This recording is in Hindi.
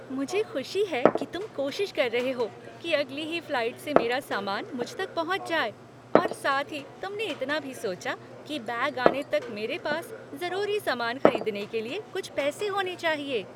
मुझे खुशी है कि तुम कोशिश कर रहे हो कि अगली ही फ्लाइट से मेरा सामान मुझ तक पहुंच जाए और साथ ही तुमने इतना भी सोचा कि बैग आने तक मेरे पास ज़रूरी सामान खरीदने के लिए कुछ पैसे होने चाहिए।